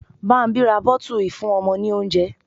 Bámbí ra bottle ìfúnọmọ ní oúnjẹ.